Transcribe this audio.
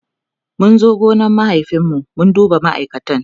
mun zo gonan mahaifin mu mu duba ma'aikatan